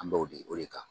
An b'o di o de kan